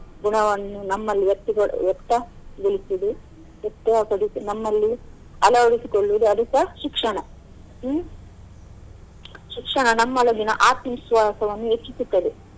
ಗುಣವನ್ನು ನಮ್ಮಲ್ಲಿ ವ್ಯಕ್ತಪ~ ವ್ಯಕ್ತ ಗೊಳಿಸುವುದು ಉತ್ತಮ ಪಡಿಸುದು ನಮ್ಮಲ್ಲಿ ಅಳವಡಿಸಿಕೊಳ್ಳುವುದು ಅದುಸ ಶಿಕ್ಷಣ ಹ್ಮ್‌ ಶಿಕ್ಷಣ ನಮ್ಮಲ್ಲಿರುವ ಆತ್ಮ ವಿಶ್ವಾಸವನ್ನು ಹೆಚ್ಚಿಸುತ್ತದೆ.